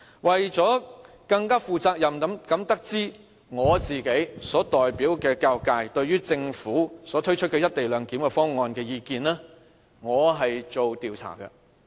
為了更負責任的得知我所代表的教育界對於政府推出"一地兩檢"方案的意見，我曾進行調查。